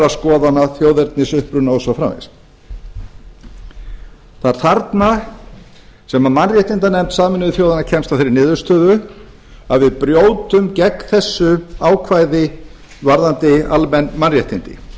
skoðana þjóðernisuppruna og svo framvegis það er þarna sem mannréttindanefnd sameinuðu þjóðanna kemst að þeirri niðurstöðu að við brjótum gegn þessu ákvæði varðandi almenn mannréttindi og